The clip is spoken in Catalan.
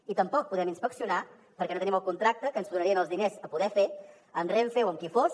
i tampoc podem inspeccionar perquè no tenim el contracte que ens donaria els diners per poder fer amb renfe o amb qui fos